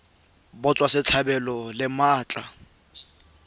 la go naya batswasetlhabelo maatla